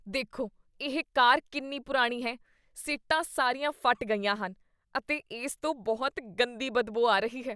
ਦੇਖੋ ਇਹ ਕਾਰ ਕਿੰਨੀ ਪੁਰਾਣੀ ਹੈ। ਸੀਟਾਂ ਸਾਰੀਆਂ ਫਟ ਗਈਆਂ ਹਨ ਅਤੇ ਇਸ ਤੋਂ ਬਹੁਤ ਗੰਦੀ ਬਦਬੂ ਆ ਰਹੀ ਹੈ।